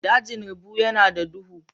Dajin rubu yana da duhu.